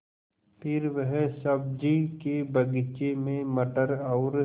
फिर वह सब्ज़ी के बगीचे में मटर और